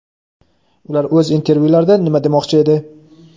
Ular oʼz intervyularida nima demoqchi edi?.